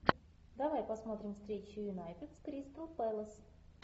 давай посмотрим встречу юнайтед с кристал пэлас